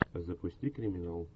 запусти криминал